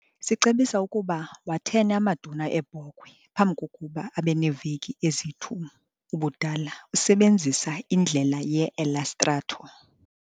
Sicebisa ukuba wathene amaduna eebhokhwe phambi kokuba abe neeveki ezi-2 ubudala usebenzisa indlela ye-Elastrator®.